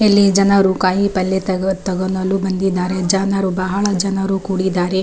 ಇಲ್ಲಿ ಜನರು ಕಾಯಿಪಲ್ಲ್ಲೇ ತಗೋ ತಗೊಳಲು ಬಂದಿದ್ದಾರೆ ಜನರು ಬಹಳ ಜನರು ಕೂಡಿದ್ದಾರೆ.